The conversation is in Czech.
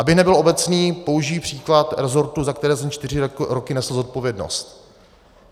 Abych nebyl obecný, použiji příklad resortu, za který jsem čtyři roky nesl zodpovědnost.